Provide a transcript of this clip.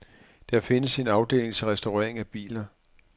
Der findes en afdeling til restaurering af biler.